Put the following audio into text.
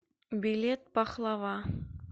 билет пахлава